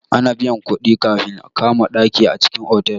Ana biyan kuɗi kafin a kama ɗaki a cikin otal.